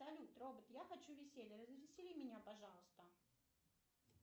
салют робот я хочу веселья развесели меня пожалуйста